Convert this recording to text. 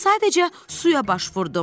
Mən sadəcə suya baş vurdum.